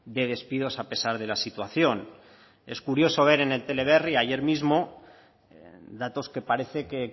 de despidos a pesar de la situación es curioso ver en el teleberri ayer mismo datos que parece que